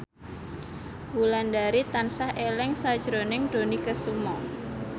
Wulandari tansah eling sakjroning Dony Kesuma